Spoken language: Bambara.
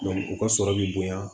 u ka sɔrɔ bi bonya